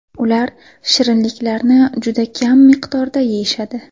Ular shirinliklarni juda kam miqdorda yeyishadi.